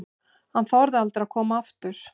Hann þorir aldrei að koma aftur.